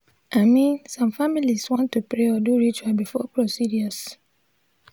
i min some familiz wan to pray or do ritual before procedures